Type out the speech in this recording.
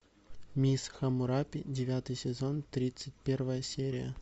мисс хаммурапи девятый сезон тридцать первая серия